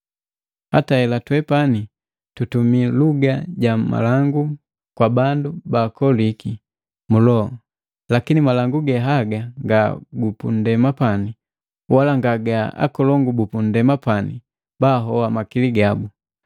Hata hela twepani tutumi luga ja malangu kwa bandu bakoliki mu loho, lakini malangu ge haga nga gupundema pane wala nga ga akolongu bupundema pani bahoa makili gabu.